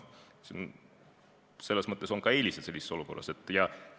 Selles mõttes on sellises olukorras ka eelised.